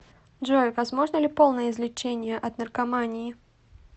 джой возможно ли полное излечение от наркомании